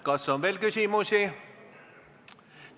Kas on veel küsimusi?